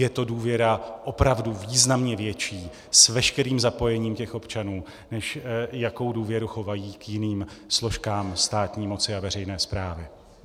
Je to důvěra opravdu významně větší s veškerým zapojením těch občanů, než jakou důvěru chovají k jiným složkám státní moci a veřejné správy.